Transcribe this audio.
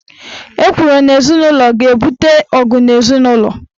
Ekworo n' ezinụlo ga-ebute ọgụ n' ezinụlọ.